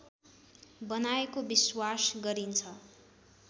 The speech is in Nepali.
बनाएको विश्वास गरिन्छ